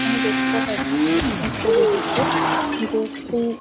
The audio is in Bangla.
আমি দেখতে পাচ্ছি এই ছবিটিতে যে একটি --